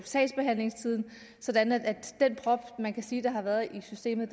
sagsbehandlingstiden sådan at den prop man kan sige der har været i systemet